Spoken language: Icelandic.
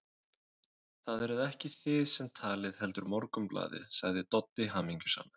Það eruð ekki þið sem talið, heldur Morgunblaðið, sagði Doddi hamingjusamur.